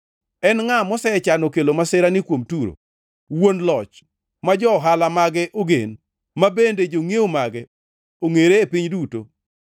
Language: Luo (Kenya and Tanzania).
En ngʼa mosechano kelo masirani kuom Turo, wuon loch, ma jo-ohala mage ogen, ma bende jongʼiewo mage ongʼere e piny duto?